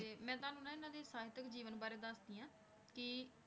ਤੇ ਮੈਂ ਤੁਹਾਨੂੰ ਨਾ ਇਹਨਾਂ ਦੇ ਸਾਹਿਤਕ ਜੀਵਨ ਬਾਰੇ ਦੱਸਦੀ ਹਾਂ ਕਿ